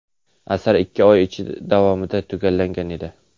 Asar ikki oy ichida davomida tugallangan edi.